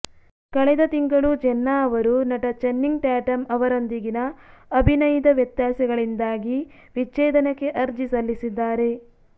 ಕಳೆದ ತಿಂಗಳು ಜೆನ್ನಾ ಅವರು ನಟ ಚನ್ನಿಂಗ್ ಟ್ಯಾಟಮ್ ಅವರೊಂದಿಗಿನ ಅಭಿನಯಿದ ವ್ಯತ್ಯಾಸಗಳಿಂದಾಗಿ ವಿಚ್ಛೇದನಕ್ಕೆ ಅರ್ಜಿ ಸಲ್ಲಿಸಿದ್ದಾರೆ